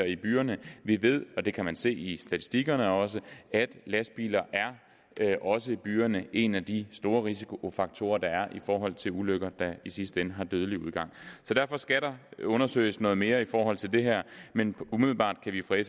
i byerne vi ved og det kan man også se i statistikkerne at lastbiler også i byerne en af de store risikofaktorer der er i forhold til ulykker der i sidste ende har dødelig udgang derfor skal der undersøges noget mere i forhold til det her men umiddelbart kan vi fra